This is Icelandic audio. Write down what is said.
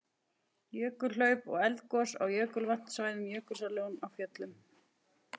Jökulhlaup og eldgos á jökulvatnasvæði Jökulsár á Fjöllum.